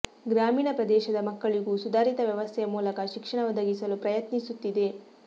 ಗ್ರಾಮೀಣ ಪ್ರದೇಶದ ಮಕ್ಕಳಿಗೂ ಸುಧಾರಿತ ವ್ಯವಸ್ಥೆಯ ಮೂಲಕ ಶಿಕ್ಷಣ ಒದಗಿಸಲು ಪ್ರಯತ್ನಿಸುತ್ತಿದೆ